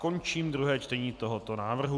Končím druhé čtení tohoto návrhu.